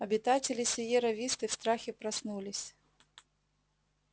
обитатели сиерра висты в страхе проснулись